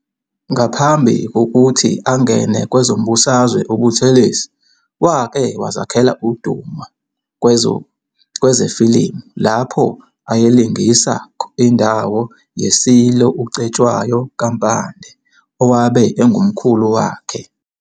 Ngaphambi kokuthi angene kwezombusazwe uButhelezi wake wazakhela udumo kwezafilimu lapho ayelingisa indawo yeSilo uCetshwayo kaMpande, owabe engumkhulu wakhe.